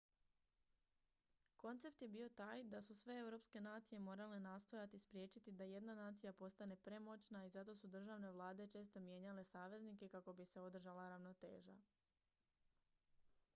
koncept je bio taj da su sve europske nacije morale nastojati spriječiti da jedna nacija postane premoćna i zato su državne vlade često mijenjale saveznike kako bi se održala ravnoteža